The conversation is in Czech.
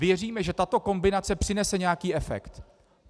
Věříme, že tato kombinace přinese nějaký efekt.